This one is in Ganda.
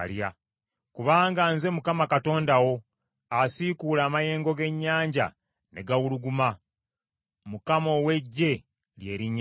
Kubanga nze Mukama Katonda wo, asiikuula amayengo g’ennyanja ne gawuluguma: Mukama ow’Eggye lye linnya lye.